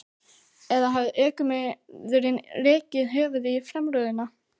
Eða hafði ökumaðurinn rekið höfuðið í framrúðuna?